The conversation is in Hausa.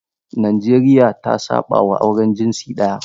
Najeriya ta saɓawa auren jinsi ɗaya.